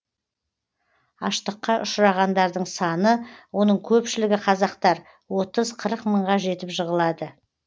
аштыққа ұшырағандардың саны оның көпшілігі қазақтар отыз қырық мыңға жетіп жығылады